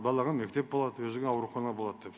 балаға мектеп болады өзіңе аурухана болады деп